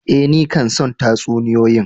Eh, ni kan son tatsuniyoyi.